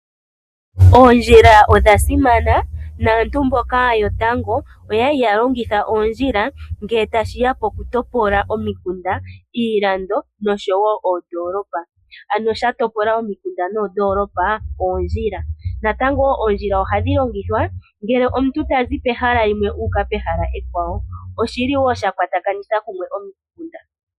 Oondjila odhasimana, naantu mboka yotango oyali yalongitha oondjila ngele tashiya pokutopola omikunda, iilando nosho wo oondoolopa, ano shatopola omikunda noondoolopa oondjila. Natango wo oondjila ohadhi longithwa ngele omuntu tazi pehala uuka pehala ekwawo. Oshili wo shakwatakanitha kumwe omikunda.